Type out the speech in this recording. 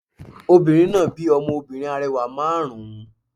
Obìnrin náà bí ọmọ obìnrin arẹwà márùn ún